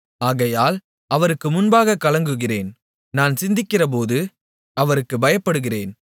ஆகையால் அவருக்கு முன்பாகக் கலங்குகிறேன் நான் சிந்திக்கிறபோது அவருக்குப் பயப்படுகிறேன்